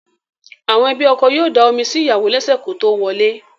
Àwọn ẹbí ọkọ yóò da omi sí ìyàwò lẹ́sẹ̀ kótó wọlé.